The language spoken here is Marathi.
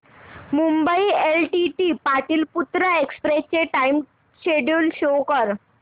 मुंबई एलटीटी पाटलिपुत्र एक्सप्रेस चे टाइम शेड्यूल शो कर